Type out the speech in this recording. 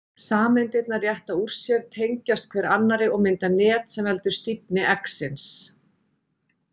Sameindirnar rétta úr sér, tengjast hver annarri og mynda net sem veldur stífni eggsins.